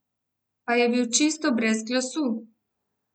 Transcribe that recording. Pa je bil čisto brez glasu.